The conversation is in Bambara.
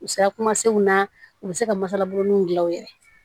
U sera kuma senw na u bɛ se ka masalaburuninw di aw yɛrɛ ye